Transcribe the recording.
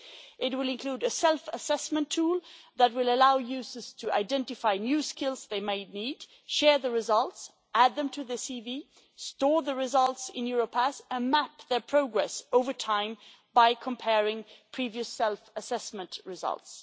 It will include a self-assessment tool that will allow users to identify new skills they may need, share the results, add them to their CV, store the results in Europass and map their progress over time by comparing with previous self-assessment results.